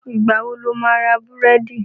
Ìgbà wo lo máa ra búrẹ́dì?